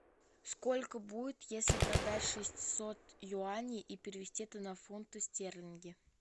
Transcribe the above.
сколько будет если продать шестьсот юаней и перевести это на фунты стерлинги